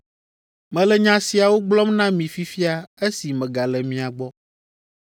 “Mele nya siawo gblɔm na mi fifia esi megale mia gbɔ.